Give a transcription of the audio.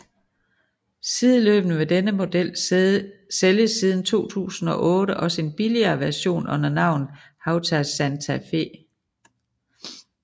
Sideløbende med denne model sælges siden 2008 også en billigere version under navnet Hawtai Santa Fe